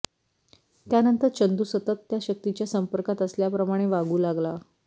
त्यानंतर चंदू सतत त्या शक्तीच्या संपर्कात असल्याप्रमाणे वागू लागला